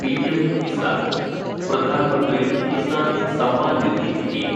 PM Kisan (Pradhan Mantri Kisan Samman Nidhi) scheme